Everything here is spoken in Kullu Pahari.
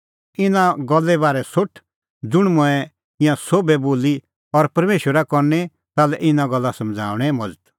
इना गल्ले बारै सोठ ज़ुंण मंऐं ईंयां एभै बोली और परमेशरा करनी ताल्है इना गल्ला समझ़णा लै मज़त